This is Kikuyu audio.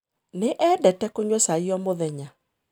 Nĩ eendete kũnyua cai o mũthenya.